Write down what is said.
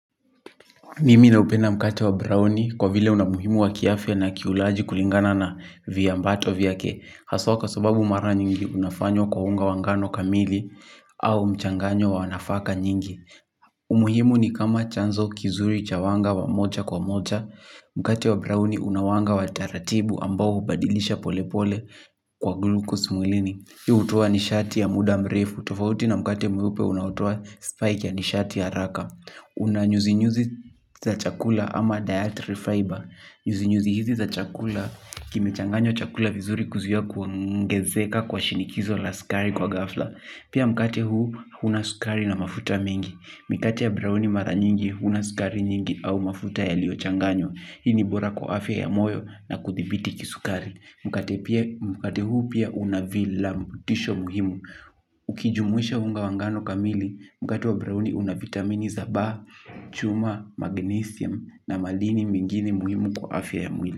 Nimi naupenda mkate wa browni kwa vile una umuhimu wa kiafya na kiulaji kulingana na viambato vyake. Haswa kwa sababu mara nyingi unafanywa kwa unga wa ngano kamili au mchanganyo wa nafaka nyingi. Umuhimu ni kama chanzo kizuri cha wanga wa mocha kwa mocha. Mkate wa browni una wanga wa taratibu ambao hubadilisha polepole kwa glucose mwilini. Hii hutoa nishati ya muda mrefu tofauti na mkate mweupe unaotoa spike ya nishati ya haraka. Una nyuzi nyuzi za chakula ama dietary fiber. Nyuzi nyuzi hizi za chakula kimechanganywa chakula vizuri kuzuia kuongezeka kwa shinikizo la skari kwa ghafla. Pia mkate huu una skari na mafuta mingi. Mkate ya browni mara nyingi huna skari nyingi au mafuta yaliyochanganywa. Hii ni bora kwa afya ya moyo na kuthibiti kisukari. Mkate huu pia unavila mbutisho muhimu. Ukijumuisha unga wa ngano kamili mkate wa browni una vitamini za C, chuma, magnesium na madini mingine muhimu kwa afya ya mwili.